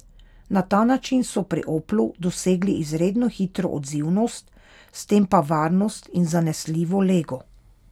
Na ta način so pri Oplu dosegli izredno hitro odzivnost, s tem pa varnost in zanesljivo lego.